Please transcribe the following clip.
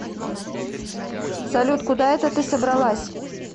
салют куда это ты собралась